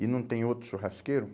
E não tem outro churrasqueiro?